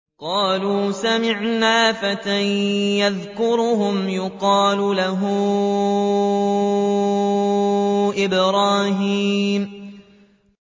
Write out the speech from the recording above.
قَالُوا سَمِعْنَا فَتًى يَذْكُرُهُمْ يُقَالُ لَهُ إِبْرَاهِيمُ